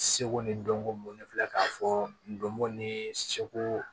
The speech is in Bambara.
Seko ni dɔnko ne filɛ k'a fɔ n donko ni seko